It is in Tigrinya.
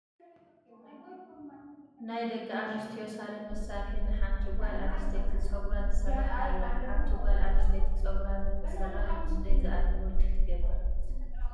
ናይ ደቂ ኣንስትዮ ሳሎን መሳርሒ ን ሓንቲ ጋል ኣንስተይቲ ፀጉራ ትስራሕ ኣላ ። ሓንቲ ጋል ኣንስተይቲ ፀጉራ ንክትስራሕ ክንደይ ዝአክል ወጪ ትገብር ?